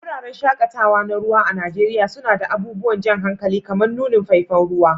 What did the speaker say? Wuraren shaƙatawa na ruwa a Najeriya suna da abubuwan jan hankali kamar nunin faifan ruwa